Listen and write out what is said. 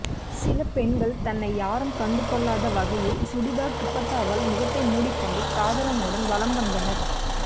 சில பெண்கள் தன்னை யாரும் கண்டுகொள்ளாத வகையில் சுடிதார் துப்பட்டாவால் முகத்தை மூடிக்கொண்டு காதலனுடன் வலம் வந்தனர்